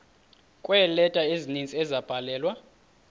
kweeleta ezininzi ezabhalelwa